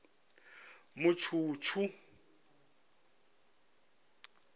mutshutshu